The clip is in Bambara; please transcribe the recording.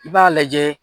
I b'a lajɛ